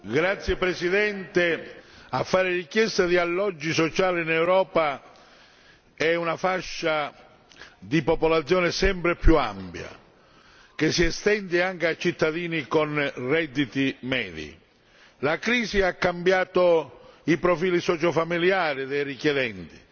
Signora Presidente, onorevoli colleghi, a fare richiesta di alloggi sociali in Europa è una fascia di popolazione sempre più ampia, che si estende anche a cittadini con redditi medi la crisi ha cambiato i profili sociofamiliari dei richiedenti